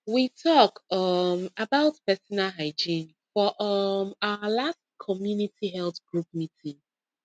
we talk um about personal hygiene for um our last community health group meeting